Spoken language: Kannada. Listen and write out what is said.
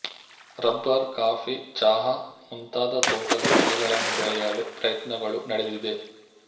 ರಬ್ಬರ್ ಕಾಫಿ ಚಹಾ ಮುಂತಾದ ತೋಟದ ಬೆಳೆಗಳನ್ನು ಬೆಳೆಯಲು ಪ್ರಯತ್ನಗಳು ನಡೆದಿದೆ